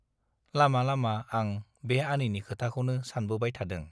लामा लामा आं बे आनैनि खोथाखौनो सानबोबाय थादों।